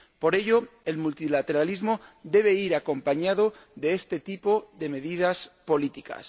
Por ello, el multilateralismo debe ir acompañado de este tipo de medidas políticas.